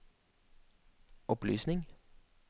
opplysning